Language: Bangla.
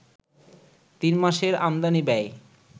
তিন মাসের আমদানি ব্যয়